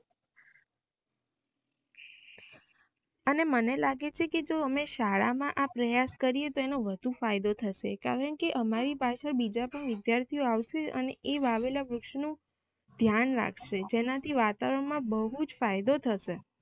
અને મને લાગે છે કે જો અમે શાળા માં આ પ્રયાસ કરીયે તો એનો ફાયદો થશે કારણ કે અમારી પાસે બિજા કોઇ વિદ્યાર્થી ઓ આવશે અને એ વાવેલા વૃક્ષો નું ધ્યાન રાખશે જેનાથી વાતાવરણ માં બવ જ ફાયદો થશે